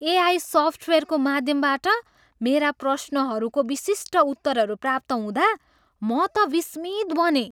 AI सफ्टवेयरको माध्यमबाट मेरा प्रश्नहरूको विशिष्ट उत्तरहरू प्राप्त हुँदा म त विस्मित बनेँ।